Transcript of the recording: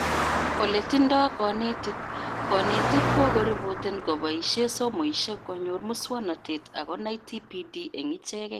Oletindoi konetik:konetik kokoriboten koboishee somoishek konyor muswonotet ak konai TPD eng ichekee